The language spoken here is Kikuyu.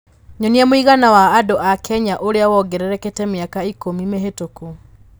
Nyonia mũigana wa andũ a Kenya ũrĩa wongererekete mĩaka ikũmi mĩhĩtũku